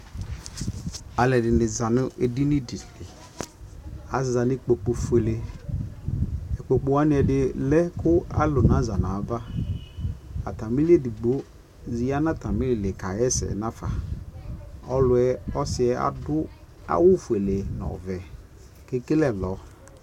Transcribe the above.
alʋɛdini zanʋ ɛdinidili, aza nʋ ikpɔkʋ ƒʋɛlɛ, ikpɔkʋ waniɛdi lɛ kʋ alʋ naza nʋ aɣa, atamili ɛdigbɔ yanʋ atami ilikayɛsɛ nʋ aƒa, ɔsiiɛ adʋ awʋ ƒʋɛ nʋ ɔvɛ kʋ ɛkɛlɛ ɛlɔ